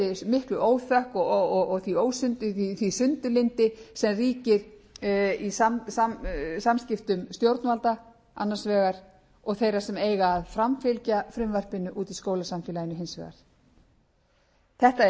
miklu óþökk og því sundurlyndi sem ríkir í samskiptum stjórnvalda annars vegar og þeirra sem eiga að framfylgja frumvarpinu út í skólasamfélaginu hins vegar þetta